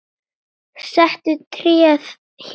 Settu tréð hér.